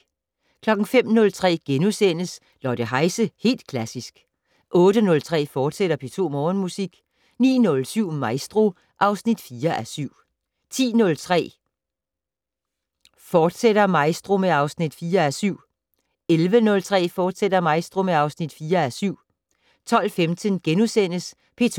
05:03: Lotte Heise - Helt Klassisk * 08:03: P2 Morgenmusik, fortsat 09:07: Maestro (4:7) 10:03: Maestro, fortsat (4:7) 11:03: Maestro, fortsat (4:7) 12:15: P2